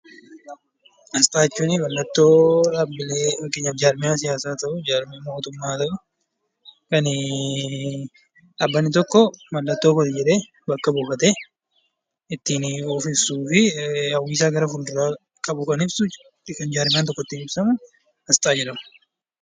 Asxaa jechuun mallattoo dhaabbilee fakkeenyaaf jaarmiyaa siyaasaa haa ta'uu, jaarmiyaa mootummaa haa ta'uu kan dhaabbanni tokko mallattoo kooti jedhee bakka buufatee ittiin of ibsuu fi hawwi isaa gara fuulduraa qabu kan ibsu yookiin jaarmiyaan tokko ittiin ibsamu 'Asxaa' jedhama.